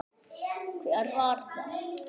Hver var það?